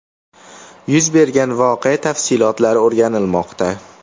Yuz bergan voqea tafsilotlari o‘rganilmoqda.